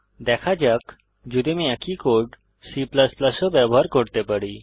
দেখা যাক যদি আমি একই কোড C এও ব্যবহার করতে পারি